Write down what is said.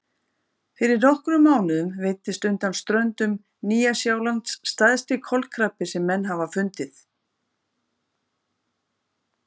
Fyrir nokkrum mánuðum veiddist undan ströndum Nýja-Sjálands stærsti kolkrabbi sem menn hafa fundið.